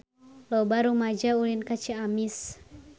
Loba rumaja ulin ka Ciamis